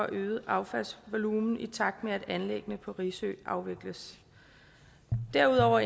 øgede affaldsvolumen i takt med at anlæggene på risø afvikles derudover